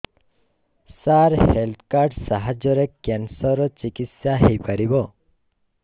ସାର health card ସାହାଯ୍ୟରେ cancer ର ଚିକିତ୍ସା ହେଇପାରିବ